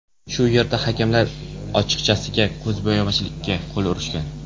Shu yerda hakamlar ochiqchasiga ko‘zbo‘yamachilikka qo‘l urishgan.